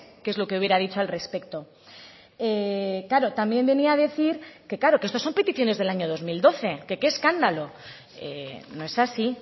qué es lo que hubiera dicho al respecto claro también venía a decir que claro que estos son peticiones del año dos mil doce que qué escándalo no es así